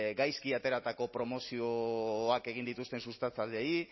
gaizki ateratako promozioak egin dituzten sustatzaileei